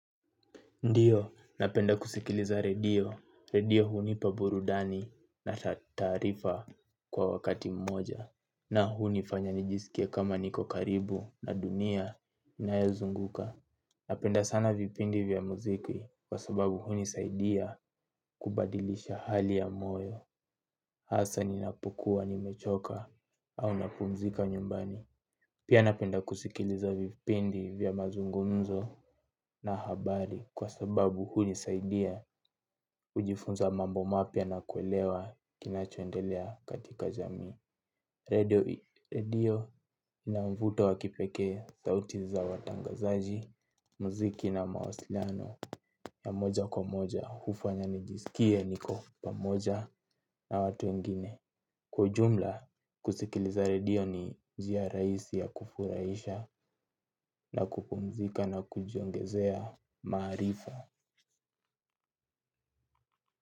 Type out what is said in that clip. Ndiyo, napenda kusikiliza rediyo, rediyo huni paburudani na tatarifa kwa wakati mmoja. Na huni fanya nijisikie kama niko karibu na dunia inaezunguka. Napenda sana vipindi vya muziki kwa sababu huni saidia kubadilisha hali ya moyo hasa ninapokuwa ni mechoka au napumzika nyumbani. Pia napenda kusikiliza vipindi vya mazungunzo na habari kwa sababu huni saidia kujifunza mambo mapia na kuelewa kinachoendelea katika jami. Radio ina mvuto wakipeke sauti za watangazaji, muziki na mawasiliano ya moja kwa moja hufanya nijisikie niko pamoja na watu wengine. Kwa juumla, kusikiliza redio ni njia raisi ya kufuraisha na kupumzika na kujiongezea marifa.